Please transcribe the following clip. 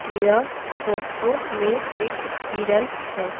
यह फोटो में एक हिरन है।